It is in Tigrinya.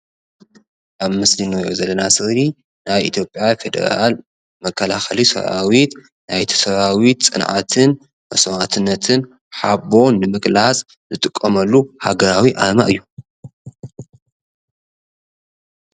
አብ ምስሊ ንሪኦ ዘለና ስእሊ ናይ ኢትጲያ ፊደራል መከላከሊ ሰራዊት ናይቲ ሰራዊት ፅንዓትን መስዋእትነትን ሓቦ ንምግላፅ ዝጥቀመሉ ሃገራዊ አርማ እዩ፡፡